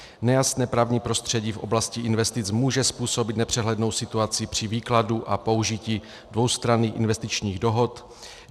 Nejasné právní prostředí v oblasti investic může způsobit nepřehlednou situaci při výkladu a použití dvoustranných investičních dohod.